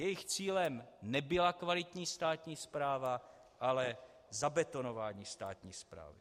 Jejich cílem nebyla kvalitní státní správa, ale zabetonování státní správy.